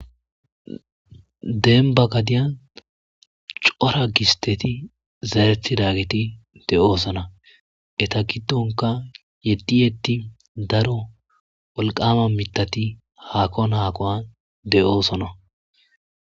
demba gadiyan cora gisteti zaretidageti de7oosona eta giddonka yeddi yeddi daro wolqamma mithati haakon haakon de7oosona